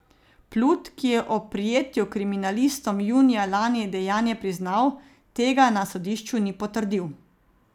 Plut, ki je ob prijetju kriminalistom junija lani dejanje priznal, tega na sodišču ni potrdil.